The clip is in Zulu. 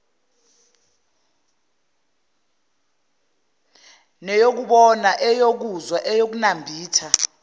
neyokubona eyokuzwa eyokunambitha